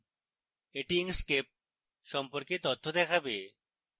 এটি inkscape সম্পর্কে তথ্য দেখাবে